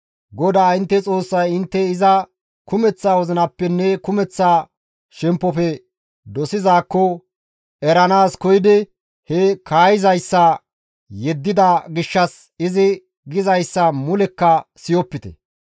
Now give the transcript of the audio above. GODAA intte Xoossay intte iza kumeththa wozinappenne kumeththa shemppofe dosizaakko eranaas koyidi he kaayizayssa yeddida gishshas izi gizayssa mulekka siyopite.